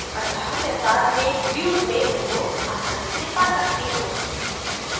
अत: मैं बाद में views में उनको आसानी से पा सकती हूँ